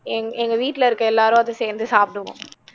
எங் எங்க வீட்டிலே இருக்க எல்லாரோட சேர்ந்து சாப்பிடுவோம்